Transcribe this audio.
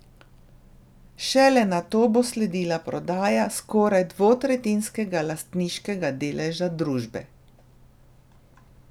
Šele nato bo sledila prodaja skoraj dvotretjinskega lastniškega deleža družbe.